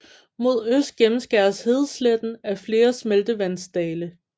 Mod øst gennemskæres hedesletten af flere smeltevandsdale